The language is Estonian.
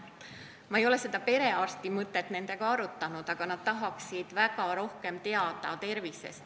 Ma ei ole seda perearsti mõtet nendega arutanud, aga nad tahaksid väga tervisest rohkem teada saada.